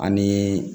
Ani